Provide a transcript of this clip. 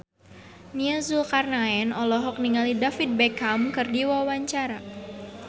Nia Zulkarnaen olohok ningali David Beckham keur diwawancara